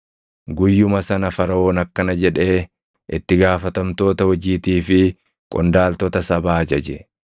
Guyyuma sana Faraʼoon akkana jedhee itti gaafatamtoota hojiitii fi qondaaltota sabaa ajaje;